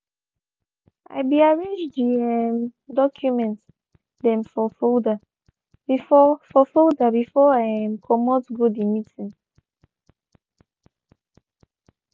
i be arranged de um doucment dem for folder before for folder before i um comot go de meeting.